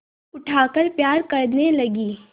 उठाकर प्यार करने लगी